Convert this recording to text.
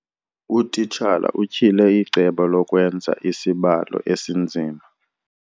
Utitshala utyhile icebo lokwenza isibalo esinzima.